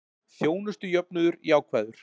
Þjónustujöfnuður jákvæður